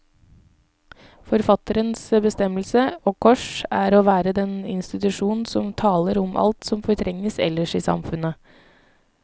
Forfatterens bestemmelse, og kors, er å være den institusjon som taler om alt som fortrenges ellers i samfunnet.